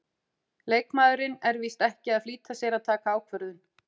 Leikmaðurinn er víst ekki að flýta sér að taka ákvörðun.